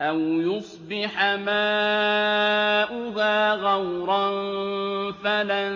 أَوْ يُصْبِحَ مَاؤُهَا غَوْرًا فَلَن